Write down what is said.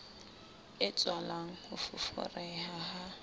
e tswalang ho foforeha ha